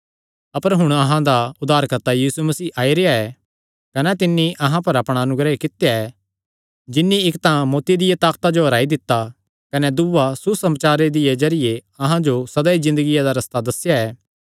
अपर हुण अहां दा उद्धारकर्ता यीशु मसीह आई रेह्आ ऐ कने तिन्नी अहां पर अपणा अनुग्रह कित्या ऐ जिन्नी इक्क तां मौत्ती दिया ताकता जो हराई दित्ता कने दूआ सुसमाचारे दे जरिये अहां जो सदा दी ज़िन्दगिया दा रस्ता दस्सेया ऐ